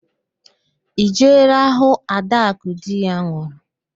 Ị jeela hụụ ạdakụ di ya nwụrụ?